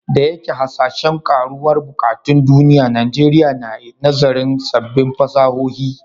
Da yake hasashen karuwar buƙatun duniya, Najeriya na nazarin sabbin fasahohi.